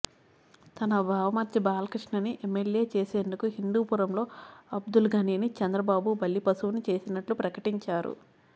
తన బావ మరిది బాలకృష్ణ ని ఎమ్మెల్యే చేసేందుకు హిందూపురంలో అబ్దుల్ ఘనీ ని చంద్రబాబు బలిపశువుని చేసినట్లు ప్రకటించారు